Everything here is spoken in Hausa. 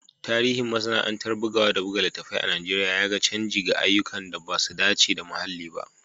Tarihin masana’antar bugawa da buga littattafai a Najeriya ya ga canji ga ayyukan da ba su dace da muhalli ba